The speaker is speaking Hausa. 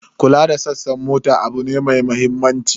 Kula da sassan mota abu ne mai mahimmanci.